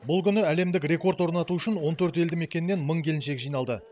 бұл күні әлемдік рекорд орнату үшін он төрт елді мекеннен мың келіншек жиналды